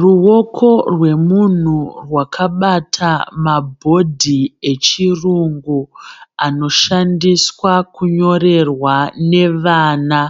Ruvoko rwemunhu rwakabata mabhodhi echirungu anoshandiswa kunyorerwa nevana